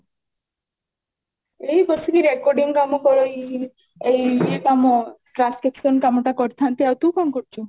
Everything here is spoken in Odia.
ଏଇ ବସିକି recording କାମ କରେଇ ଏଇ ଇଏ କାମ transcription କାମ ଟା କରିଥାନ୍ତି ଆଉ ତୁ କଣ କରୁଛୁ?